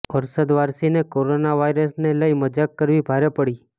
અરશદ વારસીને કોરોના વાઈરસને લઈ મજાક કરવી ભારે પડી